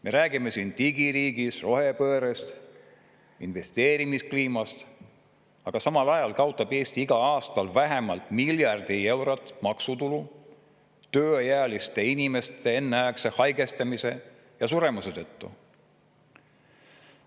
Me räägime siin digiriigist, rohepöördest, investeerimiskliimast, aga samal ajal kaotab Eesti igal aastal vähemalt miljard eurot maksutulu tööealiste inimeste enneaegse haigestumise ja suremise tõttu.